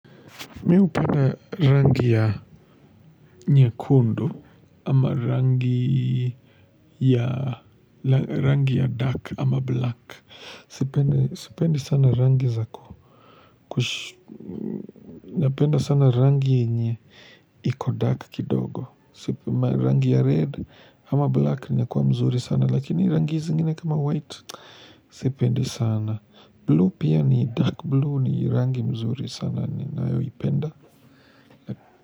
Mimi hupenda rangi ya nyekundu. Ama rangi ya rangi ya dark ama black sipendi sana rangi za napenda sana rangi yenye iko dark kidogo rangii ya red ama black inakuwa mzuri sana lakini rangi zingine kama white sipendi sana blue pia ni dark blue ni rangi mzuri sana ni nayo ipenda.